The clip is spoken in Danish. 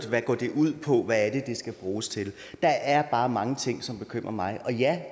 hvad går det ud på hvad er det det skal bruges til der er bare mange ting som bekymrer mig og ja